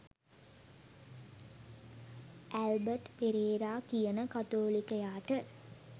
Albert Perera කියන කතෝලිකයාට